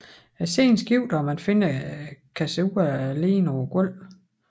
Scenen skifter og man finder Kazuya liggende på gulvet